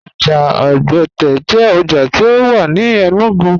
Oja Ogbẹte jẹ oja ti o wà ní Enugu.